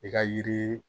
I ka yiri